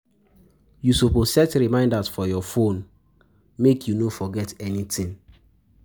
You suppose set reminders for your phone, make your phone, make you no forget anytin.